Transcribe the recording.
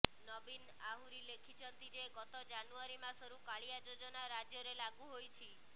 ନବୀନ ଆହୁରି ଲେଖିଛନ୍ତି ଯେ ଗତ ଜାନୁଆରି ମାସରୁ କାଳିଆ ଯୋଜନା ରାଜ୍ୟରେ ଲାଗୁ ହୋଇଛି